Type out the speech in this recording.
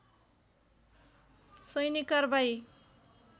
सैनिक कारबाही